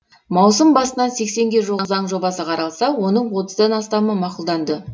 маусым басынан сексенге жуық заң жобасы қаралса оның отыздан астамы мақұлданды